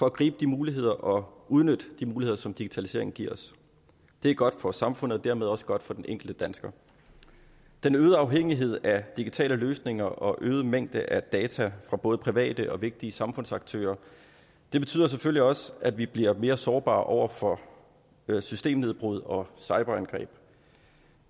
at gribe de muligheder og udnytte de muligheder som digitaliseringen giver os det er godt for samfundet og dermed også godt for den enkelte dansker den øgede afhængighed af digitale løsninger og øgede mængde af data fra både private og vigtige samfundsaktører betyder selvfølgelig også at vi bliver mere sårbare over for systembrud og cyberangreb